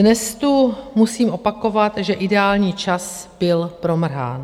Dnes tu musím opakovat, že ideální čas byl promrhán.